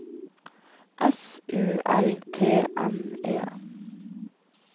S U L T N E